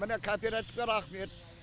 міне кооперативке рахмет